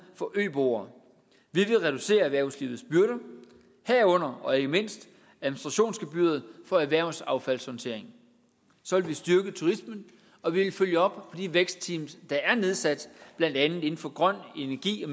for ø boere vi vil reducere erhvervslivets byrder herunder og ikke mindst administrationsgebyret for erhvervsaffaldshåndtering så vil vi styrke turismen og vi vil følge op på de vækstteams der er nedsat blandt andet inden for grøn energi og